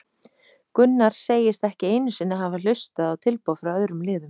Gunnar segist ekki einu sinni hafa hlustað hlustað á tilboð frá öðrum liðum.